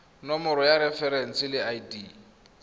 nomoro ya referense le id